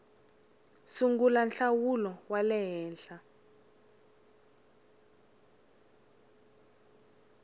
sungula nhlawulo wa le henhla